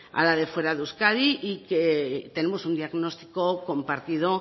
a la de fuera de euskadi y que tenemos un diagnostico compartido